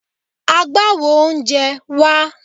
Agbawo oúnjẹ, wá!